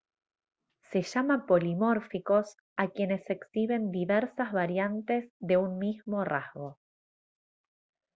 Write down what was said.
se llama polimórficos a quienes exhiben diversas variantes de un mismo rasgo